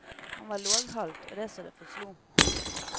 Han var låghalt, og det så det forslo.